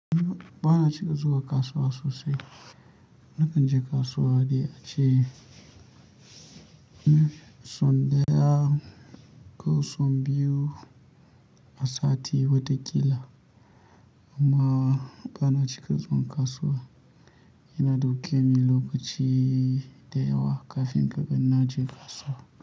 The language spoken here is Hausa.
Ba na cika zuwa kasuwa sosai. Nakan je kasuwa dai a ce son daya ko sau biyu a sati wataƙila. Amma ba na cika zuwa kasuwa. Yana ɗauke ni lokaci da yawa kafin ka ga na je kasuwa.